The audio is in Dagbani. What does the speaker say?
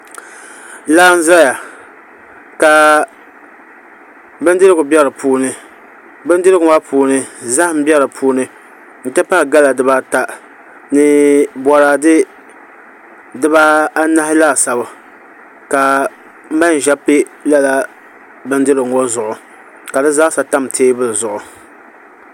Laa n ʒɛya ka bindirigu bɛ di puuni bindirigu maa puuni zaham bɛ di puuni n ti pahi gala dibata ni boraadɛ dibanahi laasabu ka manʒa bɛ lala bindirigu ŋo zuɣu ka di zaa sa tam teebuli ŋo zuɣu